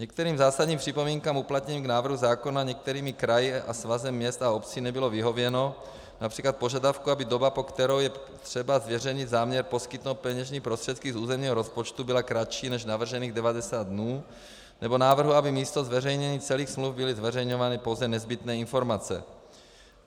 Některým zásadním připomínkám uplatněným k návrhu zákona některými kraji a Svazem měst a obcí nebylo vyhověno, například požadavku, aby doba, po kterou je třeba zveřejněný záměr poskytnout peněžní prostředky z územního rozpočtu byla kratší než navržených 90 dnů, nebo návrhu, aby místo zveřejnění celých smluv byly zveřejňovány pouze nezbytné informace.